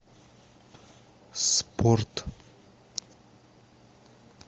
спорт